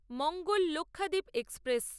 Mangal Lakshadweep express